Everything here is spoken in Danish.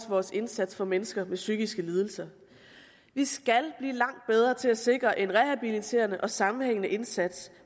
vores indsats for mennesker med psykiske lidelser vi skal blive langt bedre til at sikre en rehabiliterende og sammenhængende indsats